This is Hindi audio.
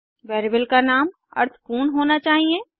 वेरिएबल का नाम अर्थपूर्ण होना चाहिए